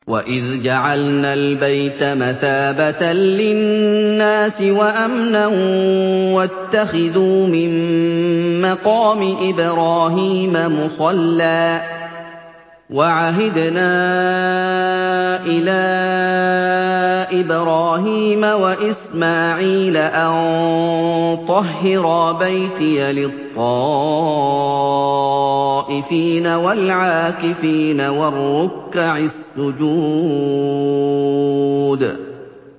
وَإِذْ جَعَلْنَا الْبَيْتَ مَثَابَةً لِّلنَّاسِ وَأَمْنًا وَاتَّخِذُوا مِن مَّقَامِ إِبْرَاهِيمَ مُصَلًّى ۖ وَعَهِدْنَا إِلَىٰ إِبْرَاهِيمَ وَإِسْمَاعِيلَ أَن طَهِّرَا بَيْتِيَ لِلطَّائِفِينَ وَالْعَاكِفِينَ وَالرُّكَّعِ السُّجُودِ